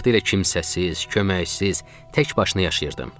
Vaxtilə kimsəsiz, köməksiz, tək başına yaşayırdım.